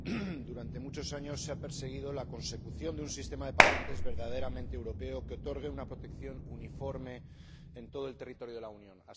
Señor Presidente, durante muchos años se ha perseguido la consecución de un sistema de patentes verdaderamente europeo que otorgue una protección uniforme en todo el territorio de la Unión.